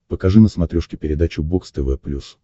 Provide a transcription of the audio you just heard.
покажи на смотрешке передачу бокс тв плюс